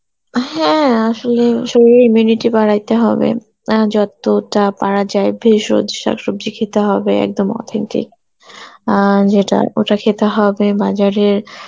হ্যাঁ আসলে শরীরের immunity বাড়াইতে হবে অ্যাঁ কতটা পারা যায় ভেষজ শাকসবজি খেতে হবে একদম authentic. অ্যাঁ যেটা ওটা খেতে হবে বাজারে